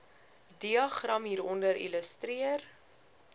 diagram hieronder illustreer